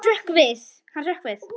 Hann hrökk við.